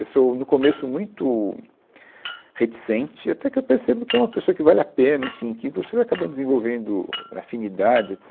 Eu sou, no começo, muito reticente, até que eu percebo que é uma pessoa que vale a pena, enfim, que você vai acabar desenvolvendo afinidades